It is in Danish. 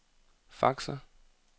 faxer